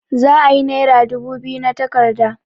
Za'a yi nera dubu biyu na takarda.